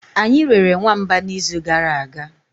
anyi rere nwamba n'izu gara aga.